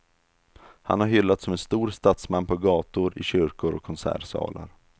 Han har hyllats som en stor statsman på gator, i kyrkor och konsertsalar.